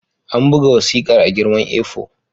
An buga wasikar a girman A4.